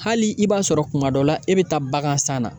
Hali i b'a sɔrɔ kuma dɔ la e bɛ taa bagansan na